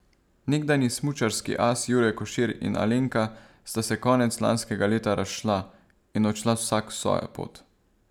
Nekdanji smučarski as Jure Košir in Alenka sta se konec lanskega leta razšla in odšla vsak svojo pot.